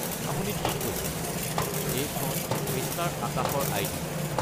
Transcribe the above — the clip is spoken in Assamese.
আপুনি ঠিক কৈছে, এইখন মিষ্টাৰ আকাশৰ আই.ডি.।